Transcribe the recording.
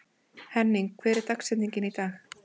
Henning, hver er dagsetningin í dag?